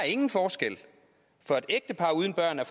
ingen forskel for et ægtepar uden børn er